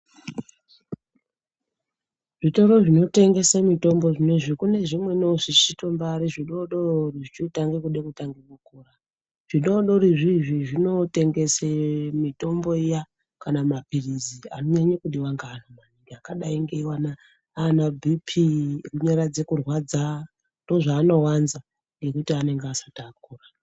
Zvitoro zvinotengese mitombo zvenezvi, kune zvimweniwo zvichitombaari zvidodori zvichirikutanga kude kutanga kukura. Zvidodori izvizvi zvinotengese mitombo iyaaa kana mapirizi anonyanya kudiwa ngaanhu yakadai ngeana bipi ekunyaradza kurwadza ndozvaanowanza ngekuti anenge asati akura.